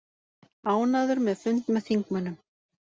Ánægður með fund með þingmönnum